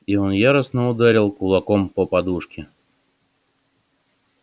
и он яростно ударил кулаком по подушке